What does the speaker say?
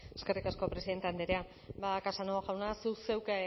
zurea da hitza eskerrik asko presidente andrea ba casanova jauna zuk zeuk